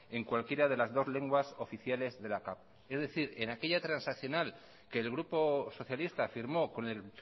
en cualquiera de las dos lenguas oficiales de la cap es decir en aquella transaccional que el grupo socialista firmó con el